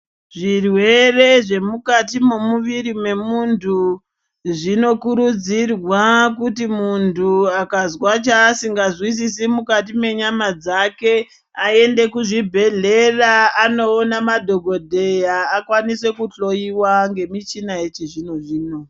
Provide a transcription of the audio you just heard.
Zvirwere zvemukati momuviri mwemuntu zvinokurudzirwa kuti muntu akazwa chaasingazwisisi mukati mwenyama dzake aende kuzvibhedhleya, anoona madhokodheya akwanise kuhloiwa ngemichina yechizvino-zvino.